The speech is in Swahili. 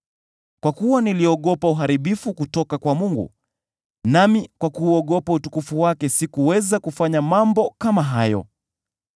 Kwa kuwa niliogopa uharibifu kutoka kwa Mungu, nami kwa kuuogopa utukufu wake sikuweza kufanya mambo kama hayo.